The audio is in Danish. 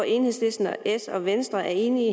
enhedslisten s og venstre er enige